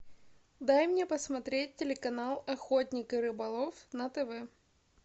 дай мне посмотреть телеканал охотник и рыболов на тв